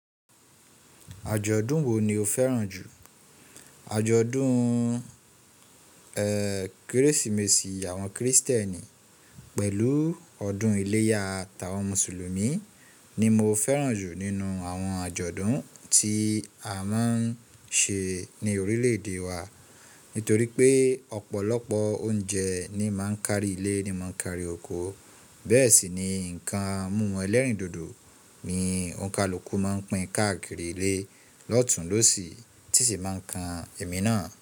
Àjọ̀dún wo ni o fẹ́ràn jù? Àjọ̀dún, ẹ́, Kérésìmesì àwọn Krìstẹ́nì pẹ̀lú ọdún iléyá ta wọn Mùsùlùmí ni mo fẹ́ràn jù nínú àwọn àjọ̀dún tí a máa ń ṣe ní orílẹ̀-èdè wa. Nítorí pé ọ̀pọ̀lọpọ̀ oúnjẹ ni màá ń kárí ilé ni màá ń kárí oko. Bẹ́ẹ̀ sì ni ǹkan mumú ẹlẹ́rìndòdò ni òǹkàluku máa ń pín káàkiri ilé lọ́tùn lọ́sì tìṣì máa ń kan èmi náà.